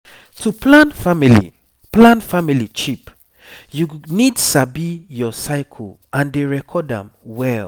to plan family plan family cheap you need sabi your cycle and dey record am well